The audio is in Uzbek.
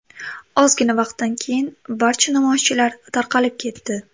Ozgina vaqtdan keyin barcha namoyishchilar tarqalib ketdi.